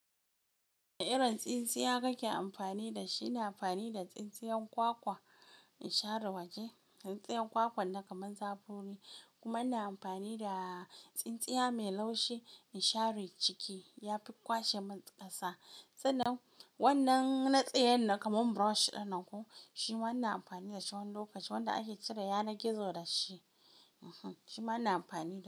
Wane irin tsintsiya kake amfani da shi? Ina amfani da tsintsiyan kwakwa in share waje. Tsintsiyan kwakwan nan kamar zabori, kuma ina amfani da tsintsiya mai laushi in share ciki ya fi kwashe mun ƙasa. San nan wannan na tsayan nan kamar brush ɗin nan ko shi ma ina amfani da shi wani lokaci, wanda ake cire yanar gizo da shi. Ehn, shi ma ina amfani da shi.